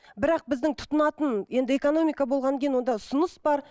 бірақ біздің тұтынатын енді экономика болғаннан кейін онда ұсыныс бар